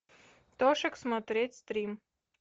тошик смотреть стрим